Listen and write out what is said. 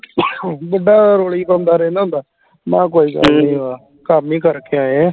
ਜਿੱਦਾਂ ਉਹ ਰੋਲੀ ਗਾਉਂਦਾ ਰਹਿੰਦਾ ਹੁੰਦਾ ਨਾ ਕੋਈ ਕੰਮ ਹੀ ਕਰਕੇ ਆਏ ਆਂ